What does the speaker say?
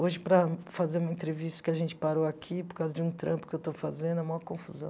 Hoje, para fazer uma entrevista que a gente parou aqui por causa de um trampo que eu estou fazendo, é a maior confusão.